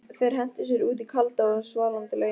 Þeir hentu sér út í kalda og svalandi laugina.